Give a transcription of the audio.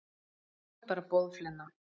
Þú ert bara boðflenna.